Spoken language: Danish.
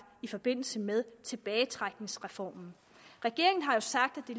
i forbindelse med tilbagetrækningsreformen regeringen har sagt at